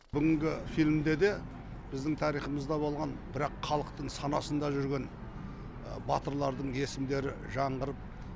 бүгінгі фильмде де біздің тарихымызда болған бірақ халықтың санасында жүрген батырлардың есімдері жаңғырып